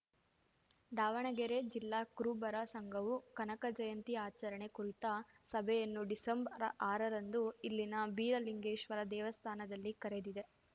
ದಾವಣಗೆರೆ ಜಿಲ್ಲಾ ಕುರುಬರ ಸಂಘವು ಕನಕ ಜಯಂತಿ ಆಚರಣೆ ಕುರಿತ ಸಭೆಯನ್ನು ಡಿಸೆಂಬರ್ಆರರಂದು ಇಲ್ಲಿನ ಬೀರಲಿಂಗೇಶ್ವರ ದೇವಸ್ಥಾನದಲ್ಲಿ ಕರೆದಿದೆ